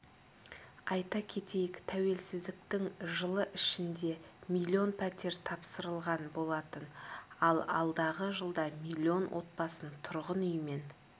айта кетейік тәуелсіздіктің жылы ішінде миллион пәтер тапсырылған болатын ал алдағы жылда миллион отбасын тұрғын үймен